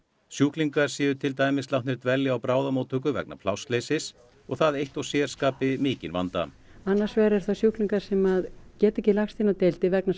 sjúklingar séu til dæmis látnir dvelja á bráðamóttöku vegna plássleysis og það eitt og sér skapi mikinn vanda annars vegar eru það sjúklingar sem geta ekki lagst inn á deildir vegna